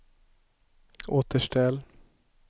återställ